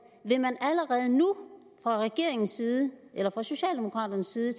vil man allerede nu fra regeringens side eller fra socialdemokraternes side